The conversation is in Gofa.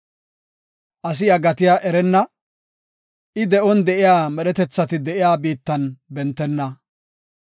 Asi iya gatiya erenna; I de7on de7iya medhetethati de7iya biittan bentenna.